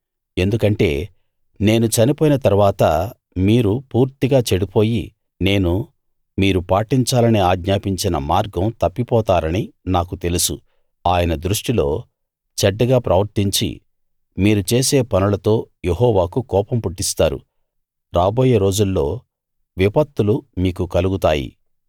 ఎందుకంటే నేను చనిపోయిన తరువాత మీరు పూర్తిగా చెడిపోయి నేను మీరు పాటించాలని ఆజ్ఞాపించిన మార్గం తప్పిపోతారని నాకు తెలుసు ఆయన దృష్టిలో చెడ్డగా ప్రవర్తించి మీరు చేసే పనులతో యెహోవాకు కోపం పుట్టిస్తారు రాబోయే రోజుల్లో విపత్తులు మీకు కలుగుతాయి